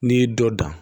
N'i y'i dɔ dan